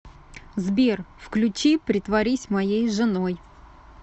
сбер включи притворись моей женой